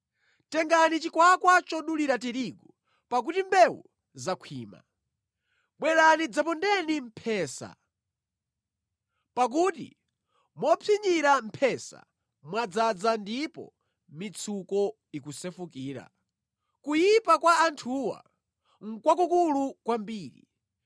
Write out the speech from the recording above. Tengani chikwakwa chodulira tirigu, pakuti mbewu zakhwima. Bwerani dzapondeni mphesa, pakuti mopsinyira mphesa mwadzaza ndipo mitsuko ikusefukira; kuyipa kwa anthuwa nʼkwakukulu kwambiri!”